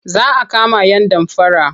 Za a kama yan damfara.